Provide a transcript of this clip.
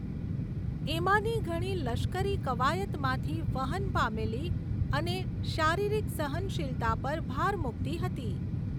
એમાંની ઘણી લશ્કરી કવાયતમાંથી વહન પામેલી અને શારીરિક સહનશીલતા પર ભાર મૂકતી હતી.